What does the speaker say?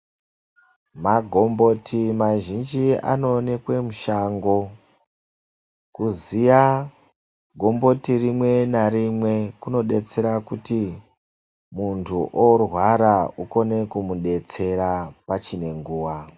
Magomboti mazhinji anowanikwa mushango. Kuziya gomboti rimwe narimwe zvinodetsera kuti muntu oorwara ukone kumudetsera pachinenguwa.